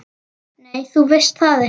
Nei, þú veist það ekki.